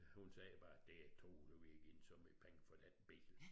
Hun sagade bare det utroligt vi har givet så mnage penge for dén bil